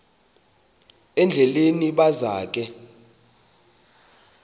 endleleni baza ke